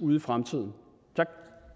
ude i fremtiden tak